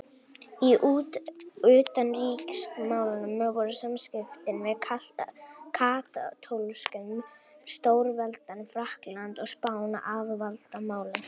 Í utanríkismálum voru samskiptin við katólsku stórveldin Frakkland og Spán aðalvandamálið.